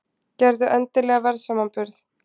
Gerðu endilega verðsamanburð!